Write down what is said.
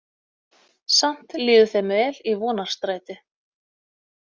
Samt líður þeim vel í Vonarstræti.